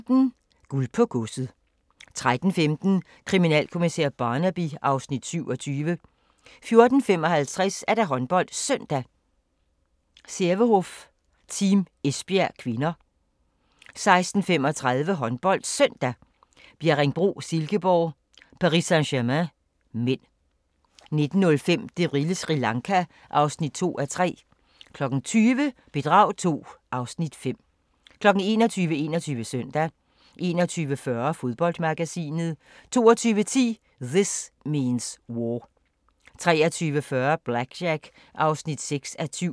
12:15: Guld på Godset 13:15: Kriminalkommissær Barnaby (Afs. 27) 14:55: HåndboldSøndag: Sävehof-Team Esbjerg (k) 16:35: HåndboldSøndag: Bjerringbro-Silkeborg - Paris Saint-Germain (m) 19:05: Det vilde Sri Lanka (2:3) 20:00: Bedrag II (Afs. 5) 21:00: 21 Søndag 21:40: Fodboldmagasinet 22:10: This Means War 23:40: BlackJack (6:7)